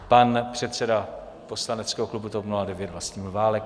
Pan předseda poslaneckého klubu TOP 09 Vlastimil Válek.